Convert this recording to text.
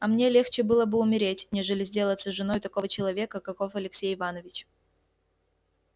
а мне легче было бы умереть нежели сделаться женою такого человека каков алексей иванович